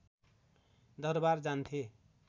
दरबार जान्थे